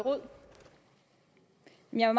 jeg